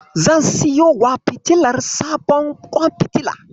Zan siyowa fitilar sabon kwan fitila.